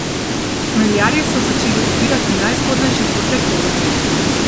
Hmeljarji so začeli obirati najzgodnejše sorte hmelja.